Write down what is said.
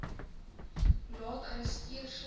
laat arresteer sonder